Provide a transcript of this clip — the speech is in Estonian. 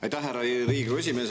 Aitäh, härra Riigikogu esimees!